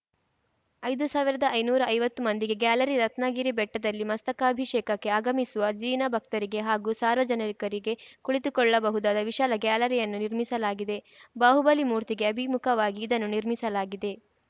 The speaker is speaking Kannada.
ಐದು ಸಾವಿರದ ಐನೂರ ಐವತ್ತು ಮಂದಿಗೆ ಗ್ಯಾಲರಿ ರತ್ನಗಿರಿ ಬೆಟ್ಟದಲ್ಲಿ ಮಸ್ತಕಾಭಿಷೇಕಕ್ಕೆ ಆಗಮಿಸುವ ಜಿನಭಕ್ತರಿಗೆ ಹಾಗೂ ಸಾರ್ವಜನಿಕರಿಗೆ ಕುಳಿತುಕೊಳ್ಳಬಹುದಾದ ವಿಶಾಲ ಗ್ಯಾಲರಿಯನ್ನು ನಿರ್ಮಿಸಲಾಗಿದೆ ಬಾಹುಬಲಿ ಮೂರ್ತಿಗೆ ಅಭಿಮುಖವಾಗಿ ಇದನ್ನು ನಿರ್ಮಿಸಲಾಗಿದೆ